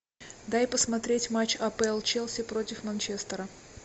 дай посмотреть матч апл челси против манчестера